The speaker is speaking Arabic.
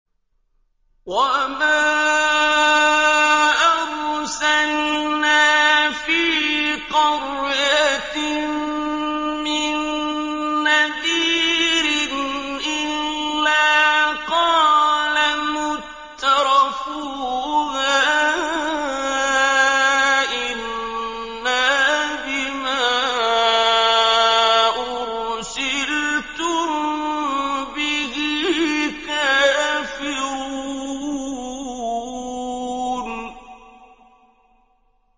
وَمَا أَرْسَلْنَا فِي قَرْيَةٍ مِّن نَّذِيرٍ إِلَّا قَالَ مُتْرَفُوهَا إِنَّا بِمَا أُرْسِلْتُم بِهِ كَافِرُونَ